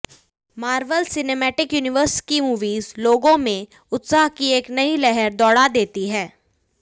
Marvel cinematic universe की movies लोगों में उत्साह की एक नई लहर दोड़ा देती है